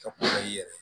Ka kuma i yɛrɛ